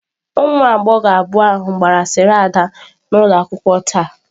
Ụmụ agbọghọ abụọ ahụ gbara asịrị ada n'ụlọ akwụkwọ taa.